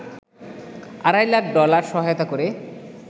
আড়াই লাখ ডলার সহায়তা করে